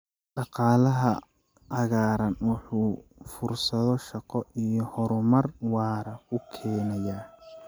Dhaqaalaha cagaaran wuxuu fursado shaqo iyo horumar waara u keenayaa.